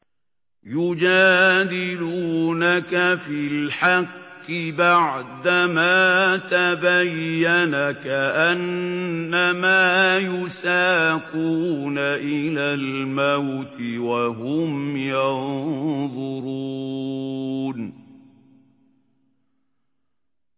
يُجَادِلُونَكَ فِي الْحَقِّ بَعْدَمَا تَبَيَّنَ كَأَنَّمَا يُسَاقُونَ إِلَى الْمَوْتِ وَهُمْ يَنظُرُونَ